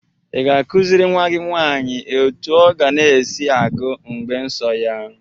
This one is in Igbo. Ị ga-akụziri nwa gị nwaanyị otu ọ ga na-esi agu mgbe nsọ ya?